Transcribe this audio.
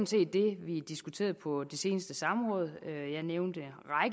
set det vi diskuterede på det seneste samråd jeg nævnte